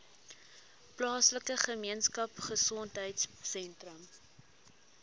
plaaslike gemeenskapgesondheid sentrum